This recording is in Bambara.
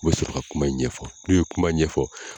U be sɔrɔ ka kuma in ɲɛfɔ n'u ye kuma ɲɛfɔ